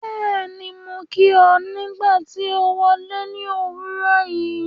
Bẹ́ẹ̀ni, mo kí ọ nígbà tí o wọle ní òwúrọ̀ yìí ́.